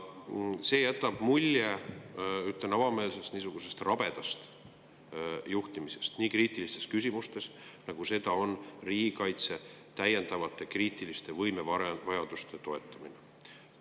See jätab mulje, ma ütlen avameelselt, rabedast juhtimisest nii kriitilises küsimuses, nagu seda on riigikaitse täiendavate kriitiliste võimevajaduste toetamine.